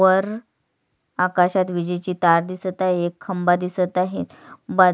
वर आकाशात विजेची तार दिसत आहे एक खंबा दिसत आहे बाजू--